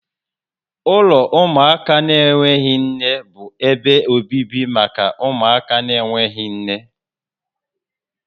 Ụlọ ụmụaka na-enweghị nne bụ ebe obibi maka ụmụaka na-enweghị nne